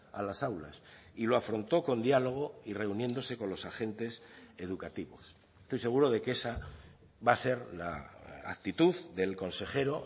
a las aulas y lo afrontó con diálogo y reuniéndose con los agentes educativos estoy seguro de que esa va a ser la actitud del consejero